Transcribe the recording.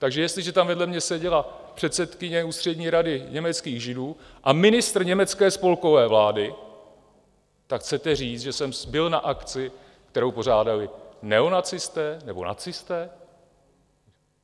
Takže jestliže tam vedle mě seděla předsedkyně Ústřední rady německých Židů a ministr německé spolkové vlády, tak chcete říct, že jsem byl na akci, kterou pořádali neonacisté nebo nacisté?